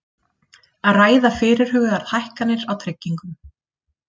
Ræða fyrirhugaðar hækkanir á tryggingum